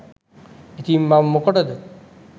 ඉතිං මම මොකටද